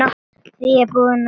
Því í búðinni fékkst allt.